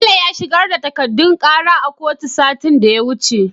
Bello ya shigar da takadun kara a kotu satin da ya wuce